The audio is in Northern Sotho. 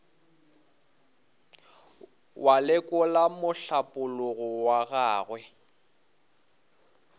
wa lekola mohlapologo wa gagwe